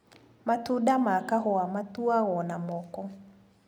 Matunda ma kahũa matuagwo na moko.